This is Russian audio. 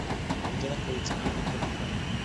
где находится клиника вк